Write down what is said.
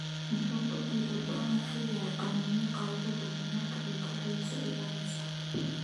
muxuu otile brown u eg yahay qaniinyo qeylo badan marka ay kooxdiisu ciyaarayso